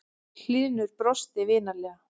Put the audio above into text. Hlynur brosti vinalega.